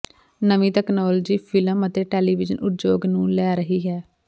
ਨਵੀਂ technology film ਅਤੇ television ਉਦਯੋਗ ਨੂੰ ਲੈ ਰਹੀ ਹੈ